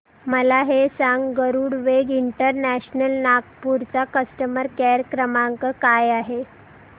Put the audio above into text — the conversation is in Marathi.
मला हे सांग गरुडवेग इंटरनॅशनल नागपूर चा कस्टमर केअर क्रमांक काय आहे